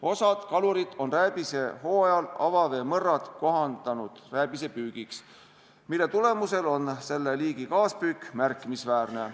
Osa kalureid on rääbisehooajal avaveemõrrad kohandanud rääbise püügiks, mille tulemusel on selle liigi kaaspüük märkimisväärne.